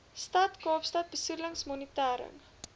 stad kaapstad besoedelingsmonitering